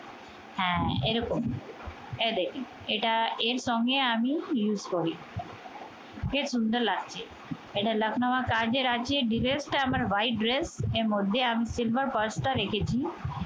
হ্যা এরকম। এই দেখেন এটা এর সঙ্গে আমি use করি। কি সুন্দর লাগছে! এটা লাক্ষ্ণৌয়া কাজের আছে dress টা আমার white dress এর মধ্যে আমি silver purse টা রেখেছি